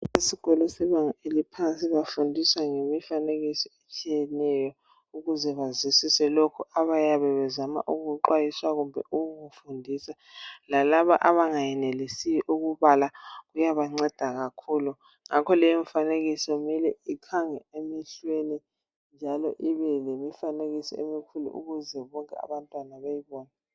Esikolo sebanga eliphansi bafundisa ngemifanekiso etshiyeneyo ukuze bazwisise lokhu abayabe bezama ukuxhwayiswa kumbe ukukufundisa lalaba abangayenelisiyo ukubala uyabanceda kakhulu ngakho leyo mfanekiso kumele ikhange emehlweni njalo ibe lemifanekiso emikhulu ukuze bonke abantwana beyibone